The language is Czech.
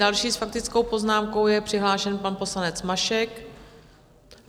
Další s faktickou poznámkou je přihlášen pan poslanec Mašek.